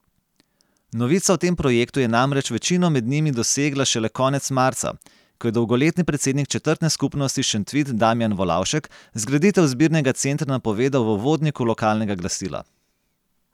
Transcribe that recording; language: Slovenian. Novica o tem projektu je namreč večino med njimi dosegla šele konec marca, ko je dolgoletni predsednik četrtne skupnosti Šentvid Damijan Volavšek zgraditev zbirnega centra napovedal v uvodniku lokalnega glasila.